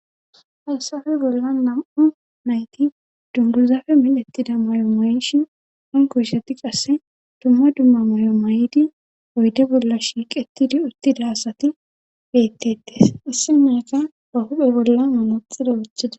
haysafe bolla nam7u nayti dunguzafe milettida may7o may7ishin onkosheti qasse dumma dumma may7o may7idi oyde bolla shiiqetidi uttida asati bettetees issi maneka ba huphe bolla manoxida oochida